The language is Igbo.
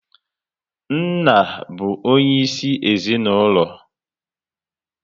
Nna bụ onye isi ezinaụlọ